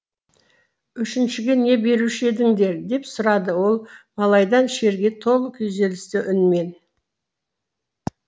үшіншіге не беруші едіңдер деп сұрады ол малайдан шерге толы күйзелісті үнмен